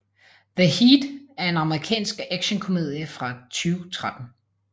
The Heat er en amerikansk actionkomedie fra 2013